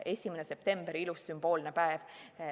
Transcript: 1. september – ilus sümboolne päev.